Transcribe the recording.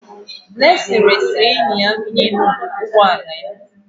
Blessing resịrị enyi ya bi n'Enugwu ụgbọ ala ya.